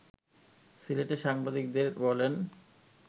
সিলেটে সাংবাদিকদের বলেন